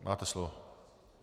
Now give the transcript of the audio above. Máte slovo.